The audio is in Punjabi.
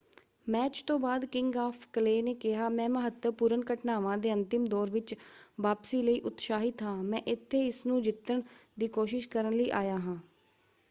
ਮੈਚ ਤੋਂ ਬਾਅਦ ਕਿੰਗ ਆਫ਼ ਕਲੇ ਨੇ ਕਿਹਾ ਮੈਂ ਮਹੱਤਵਪੂਰਨ ਘਟਨਾਵਾਂ ਦੇ ਅੰਤਿਮ ਦੌਰ ਵਿੱਚ ਵਾਪਸੀ ਲਈ ਉਤਸਾਹਿਤ ਹਾਂ। ਮੈਂ ਇੱਥੇ ਇਸਨੂੰ ਜਿੱਤਣ ਦੀ ਕੋਸ਼ਿਸ਼ ਕਰਨ ਲਈ ਆਇਆ ਹਾਂ।